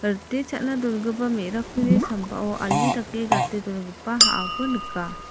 rite cha·na dongipa me·rakkuni sambao ali dake gate dongipa ha·ako nika.